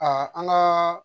an ka